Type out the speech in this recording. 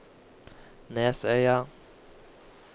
Nesøya